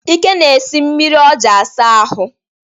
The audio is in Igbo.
Ike na-esi mmiri ọ ji asa ahụ.